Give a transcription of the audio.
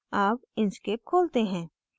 अब inkscape खोलते हैं